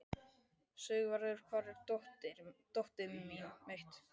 Sigvarður, hvar er dótið mitt?